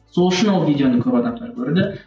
сол үшін ол видеоны көп адамдар көрді